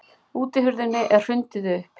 Útihurðinni er hrundið upp.